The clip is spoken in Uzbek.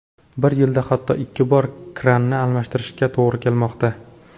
Bir yilda hatto ikki bor kranni almashtirishga to‘g‘ri kelmoqda.